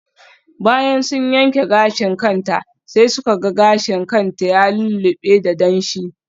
Bayan sun yanke gashin kanta sai suka ga gashin kan ta ya lullube da damshi.